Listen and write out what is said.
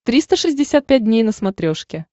триста шестьдесят пять дней на смотрешке